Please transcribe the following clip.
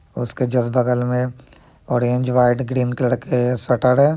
उसके जस्ट बगल में ऑरेंज व्हाइट ग्रीन कलर के शटर है ।